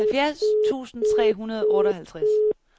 halvfjerds tusind tre hundrede og otteoghalvtreds